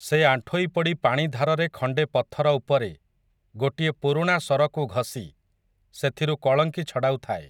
ସେ ଆଣ୍ଠୋଇ ପଡ଼ି ପାଣି ଧାରରେ ଖଣ୍ଡେ ପଥର ଉପରେ, ଗୋଟିଏ ପୁରୁଣା ଶରକୁ ଘଷି, ସେଥିରୁ କଳଙ୍କି ଛଡ଼ାଉଥାଏ ।